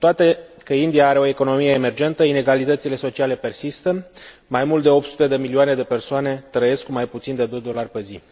Cu toate că India are o economie emergentă, inegalitățile sociale persistă. Mai mult de 800 de milioane de persoane trăiesc cu mai puțin de doi dolari pe zi.